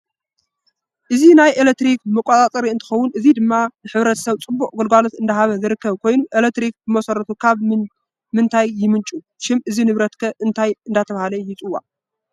አዚናይ ኤለትሪክ መቋፃፀሪ እንትከውን እዚ ድማ ንሕ/ሰብ ፅቡቅ ኣገልግሎት እዳሃበ ዝርከብ ኮይኑ ኤለትሪክ ብመሰረቱ ካብ ይምንጭው ሽም እዚ ንብረት ከ እንታይ እዳተባሃ ይፅዋዕ?